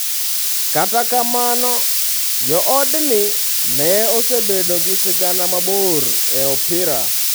Kata kamano, joodgi ne osebedo gi sigana mabor e opira.